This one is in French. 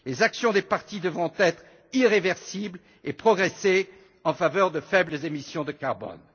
Les actions des parties devront être irréversibles et progresser en faveur de faibles émissions de carbone.